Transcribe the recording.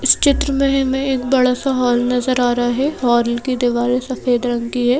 इस चित्र में एक बड़ा सा हॉल नजर आ रहा है हॉल की दीवारें सफेद रंग की हैं।